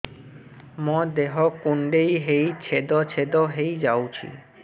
ମୋ ଦେହ କୁଣ୍ଡେଇ ହେଇ ଛେଦ ଛେଦ ହେଇ ଯାଉଛି